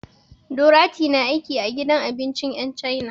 Dorathy na aiki a gidan abincin 'yan cana.